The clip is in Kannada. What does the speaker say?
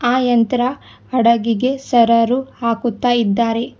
ಆ ಯಂತ್ರ ಹಡಗಿಗೆ ಸೆರೆರು ಹಾಕುತ್ತ ಇದ್ದಾರೆ.